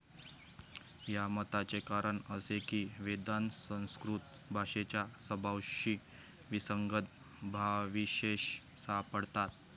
या मताचे कारण असे की, वेदांत संस्कृत भाषेच्या स्वभावाशी विसंगत भावविशेष सापडतात.